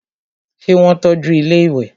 ṣé wọ́n tọ́ju ilẹ́ ìwẹ̀?